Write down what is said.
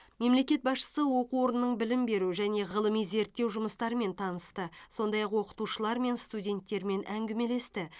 мемлекет басшысы оқу орнының білім беру және ғылыми зерттеу жұмыстарымен танысты сондай ақ оқытушылармен студенттермен әңгімелесті